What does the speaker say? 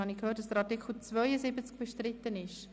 Ich habe gehört, dass der Artikel 72 bestritten ist.